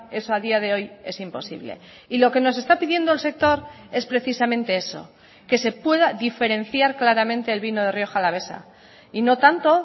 eso a día de hoy es imposible y lo que nos está pidiendo el sector es precisamente eso que se pueda diferenciar claramente el vino de rioja alavesa y no tanto